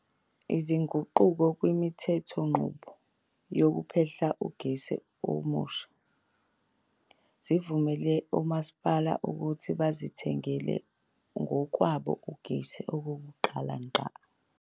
Izinguquko kwimithethonqubo yokuphehla ugesi omusha zivumele omasipala ukuthi bazithengele ngokwabo ugesi okokuqala ngqa.